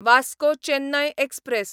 Vasco Chennai express